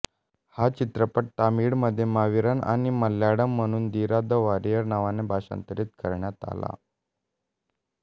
हा चित्रपट तामिळमध्ये मावीरन आणि मल्याळम म्हणून धीरा द वॉरियर नावाने भाषांतरित करण्यात आला